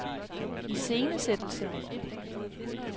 iscenesættelse